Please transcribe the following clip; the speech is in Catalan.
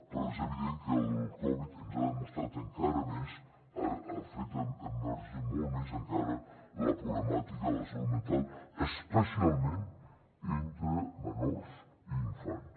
però és evident que el covid ens ha demostrat encara més ha fet emergir molt més encara la problemàtica de la salut mental especialment entre menors i infants